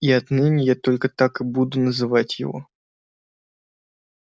и отныне я только так и буду называть его